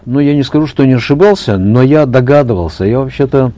ну я не скажу что не ошибался но я догадывался я вообще то